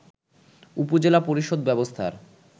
উপজেলা পরিষদ ব্যবস্থার